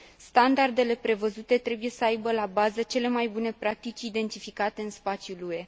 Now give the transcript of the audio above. Standardele prevăzute trebuie să aibă la bază cele mai bune practici identificate în spațiul UE.